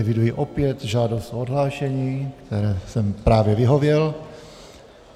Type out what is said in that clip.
Eviduji opět žádost o odhlášení, které jsem právě vyhověl.